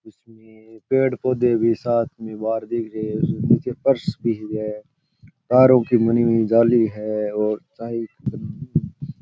इसमें पेड़ पोंधे भी साथ मे बार दिख रहे है नीचे पर्स भी है तारो कि बनी हुई जाली है और चाय --